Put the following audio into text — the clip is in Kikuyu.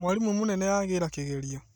Mwarimũmũnene agĩra kĩgerio